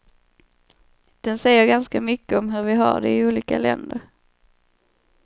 Den säger ganska mycket om hur vi har det i olika länder.